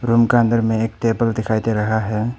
Room का अंदर में एक टेबल दिखाई दे रहा है।